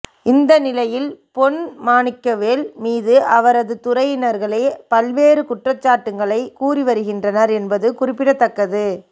இந்த நிலையில் பொன் மாணிக்கவேல் மீது அவரது துறையினர்களே பல்வேறு குற்றஞ்ச்சாட்டுக்களை கூறி வருகின்றனர் என்பது குறிப்பிடத்தக்கது